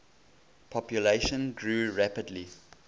population grew rapidly